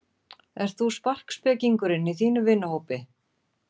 Ert þú sparkspekingurinn í þínum vinahópi?